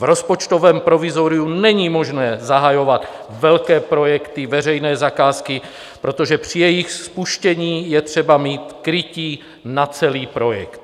V rozpočtovém provizoriu není možné zahajovat velké projekty, veřejné zakázky, protože při jejich spuštění je třeba mít krytí na celý projekt.